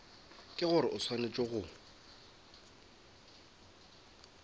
ke gore o swanetše go